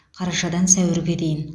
қарашадан сәуірге дейін